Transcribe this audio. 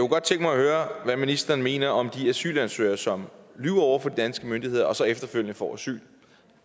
godt tænke mig at høre hvad ministeren mener om de asylansøgere som lyver over for de danske myndigheder og så efterfølgende får asyl